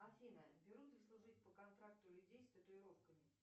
афина берут ли служить по контракту людей с татуировками